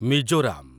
Mizoram